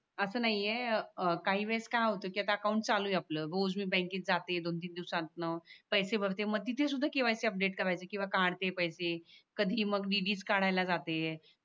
असं नाहीये काही वेळेस काय होते ते अकाउंट चालू आहे आपलं रोज मी बँकेत जाते दोन तीन दिवसातन पैसे भरते मग तिथ सुद्धा KYC अपडेट करायचं किवा काढते पैसे कधी मग dd काढायला जाते